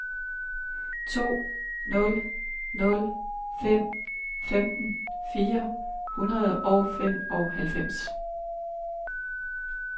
to nul nul fem femten fire hundrede og femoghalvfems